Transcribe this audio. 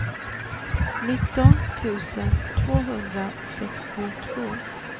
nitton tusen tvåhundrasextiotvå